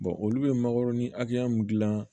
olu bɛ makɔrɔni hakɛya mun gilan